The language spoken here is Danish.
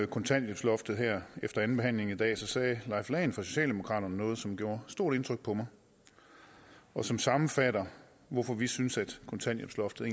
kontanthjælpsloftet her efter andenbehandlingen i dag sagde leif lahn jensen fra socialdemokraterne noget som gjorde stort indtryk på mig og som sammenfatter hvorfor vi synes at kontanthjælpsloftet